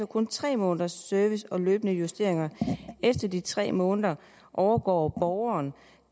kun tre måneders service og løbende justeringer efter de tre måneder overgår borgeren